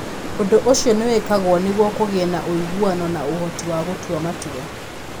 Ũndũ ũcio nĩ wĩkagwo nĩguo kũgĩe na ũiguano na ũhoti wa gũtua matua.